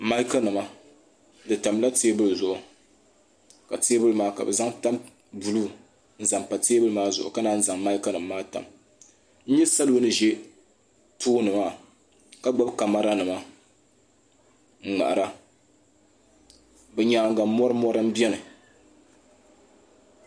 Maaki nima di tamla teebili zuɣu ka teebuli maa ka bɛ zaŋ tan buluu n zaŋ pa teebili maa zuɣu ka nan zaŋ maaki nima maa tam salo n ʒɛ tooni maa ka gbibi kamara nima n ŋmahira bɛ nyaanga mori mori m biɛni.